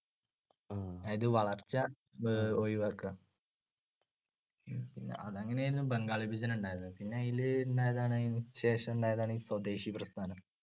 അത് വളർച്ച അഹ് ഒഴിവാക്കുക. അത് അങ്ങനെയായിരുന്നു ബംഗാൾ വിഭജനമുണ്ടായത്. പിന്നെ അതിൽ ഉണ്ടായതാണ് ശേഷം ഉണ്ടായതാണ് സ്വദേശിപ്രസ്ഥാനം.